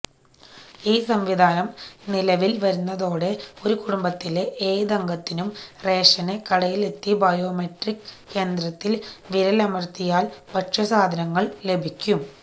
ഈ സംവിധാനം നിലവില് വരുന്നതോടെ ഒരുകുടുംബത്തിലെ ഏതംഗത്തിനും റേഷന് കടയിലെത്തി ബയോമെട്രിക് യന്ത്രത്തില് വിരലമര്ത്തിയാല് ഭക്ഷ്യസാധനങ്ങള് ലഭിക്കും